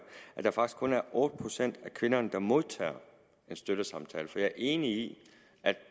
at der faktisk kun er otte procent af kvinderne der modtager en støttesamtale jeg er enig